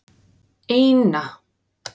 eina